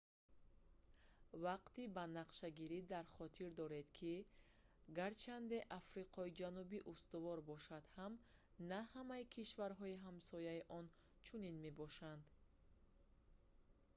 вақти банақшагирӣ дар хотир доред ки гарчанде африқои ҷанубӣ устувор бошад ҳам на ҳамаи кишварҳои ҳамсояи он чунин мебошанд